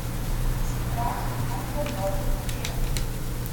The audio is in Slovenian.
Strah, ali bom dobro zapela.